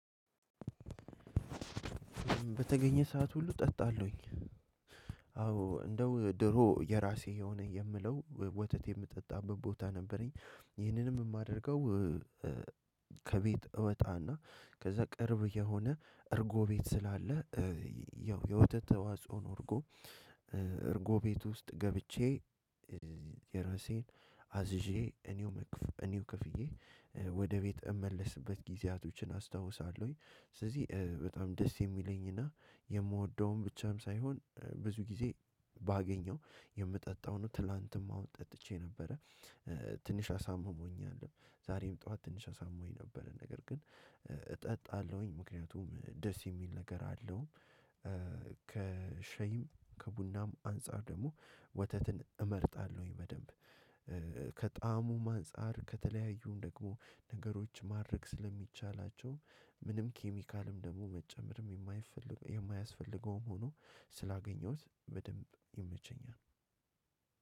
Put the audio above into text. በተገኘ ሰዓት ሁሉ እጠጣለሁኝ። አዎ እንደው ድሮ የራሴ የሆነ የምለው ወተት የምጠጣበት ቦታ ነበረኝ ይህንንም የማደርገው። ከቤት እወጣና ከዛ ቅርብ የሆነ እርጎ ቤት ስላለ ያው የወተት ተዋጽኦ ነው እርጎ። እርጎ ቤት ውስጥ ገብቼ የራሴን አዝዤ እኔው እኔው ክፍዬ ወደ ቤት እመለስበት ጊዜያቶችን አስታውሳለሁኝ። ስለዚህ በጣም ደስ የሚለኝና የምወደውን ብቻም ሳይሆን ብዙ ጊዜ ባገኘው የምጠጣዉን ትላንትም አሁን ጠጥቼ ነበረ። ትንሽ አሳምሞኛል ዛሬም ጥዋት ትንሽ አሳምሞኝ ነበረ ነገር ግን እጠጣለሁኝ ምክንያቱም ደስ የሚል ነገር አለው። ከሸይም ከቡናም አንፃር ደግሞ ወተትን እመርጣለሁኝ በደንብ። ከጣሙም አንፃር ከተለያዩ ደግሞ ነገሮች ማድረግ ስለሚቻላቸው ምንም ኬሚካልም ደግሞ መጨመርም የማይፈልግ የማያስፈልገውም ሆኖ ስላገኘሁት በደንብ ይመቸኛል።